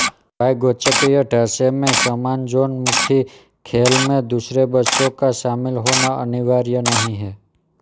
वाइगोत्स्कीय ढांचे में समाजोन्मुखी खेल में दूसरे बच्चों का शामिल होना अनिवार्य नहीं है